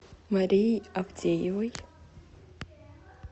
марии авдеевой